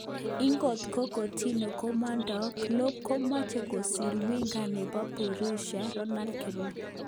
Inkot ko Coutinho komondo ,Klopp komoche kosir winga nebo Borussia Donald kirui.